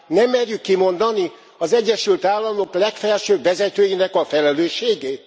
Nem merjük kimondani az Egyesült Államok legfelsőbb vezetőinek a felelősségét?